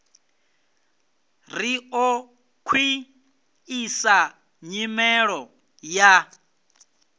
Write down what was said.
ri ḓo khwiṋisa nyimelo ya